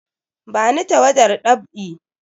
Bani tawadar dab'i!